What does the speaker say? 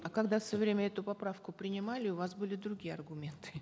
а когда в свое время эту поправку принимали у вас были другие аргументы